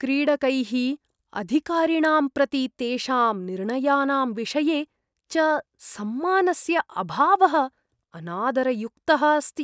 क्रीडकैः अधिकारिणां प्रति, तेषां निर्णयानां विषये च सम्मानस्य अभावः अनादरयुक्तः अस्ति।